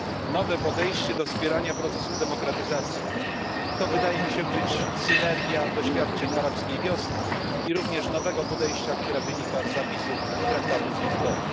Nowe podejście do wspierania procesów demokratyzacji wydaje mi się być synergią doświadczeń Arabskiej Wiosny, jak i nowego podejścia, które wynika z zapisów Traktatu z Lizbony.